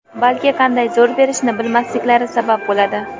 balki qanday zo‘r berishni bilmasliklari sabab bo‘ladi.